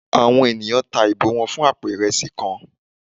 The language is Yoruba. Àwọn enìyan ta ibò wan fún apò iresí kán